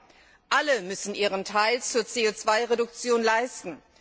2. Alle müssen ihren Teil zur CO 2 Reduktion leisten.